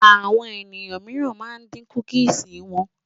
Àwọn ènìyàn míìràn ma ń dín kúkìsì wọn